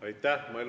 Aitäh!